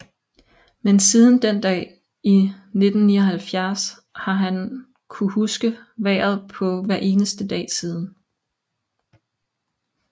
Men siden den dag i 1979 har han kunnet huske vejret på hver eneste dag siden